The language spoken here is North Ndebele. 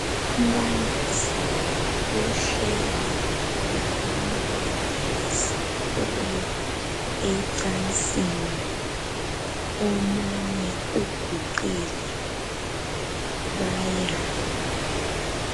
Umbalisi uhleli labantwana besikolo ecansini .Omunye uguqile. Bayadla